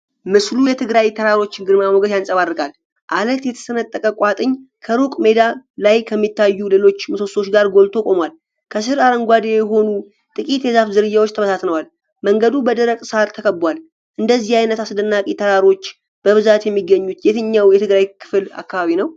ምስሉ የትግራይ ተራሮችን ግርማ ሞገስ ያንጸባርቃል። ዐለት የተሰነጠቀ ቋጥኝ ከሩቅ ሜዳ ላይ ከሚታዩ ሌሎች ምሰሶዎች ጋር ጎልቶ ቆሟል። ከስር አረንጓዴ የሆኑ ጥቂትየዛፍ ዝርያዎች ተበታትነዋል። መንገዱ በደረቅ ሣር ተከብቧል። እንደዚህ አይነት አስደናቂ ተራሮች በብዛት የሚገኙት የትኛው የትግራይ ክልል አካባቢ ነው?